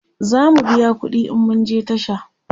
zamu biya ƙuɗi in mun je tasha